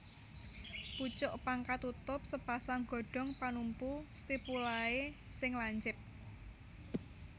Pucuk pang katutup sepasang godhong panumpu stipulae sing lancip